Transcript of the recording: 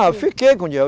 Ah, fiquei com dinheiro.